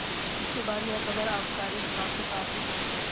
इसके बाद यह खबर आबकारी विभाग के पास भी पहुंच गयी